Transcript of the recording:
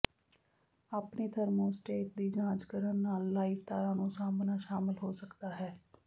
ਆਪਣੇ ਥਰਮੋਸਟੇਟ ਦੀ ਜਾਂਚ ਕਰਨ ਨਾਲ ਲਾਈਵ ਤਾਰਾਂ ਨੂੰ ਸਾਂਭਣਾ ਸ਼ਾਮਲ ਹੋ ਸਕਦਾ ਹੈ